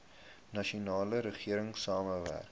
nasionale regering saamwerk